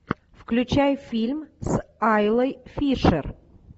включай фильм с айлой фишер